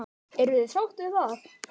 Eruð þið sátt við það?